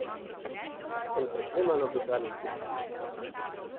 Sem preklemano bizaren tip.